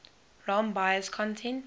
rom bios content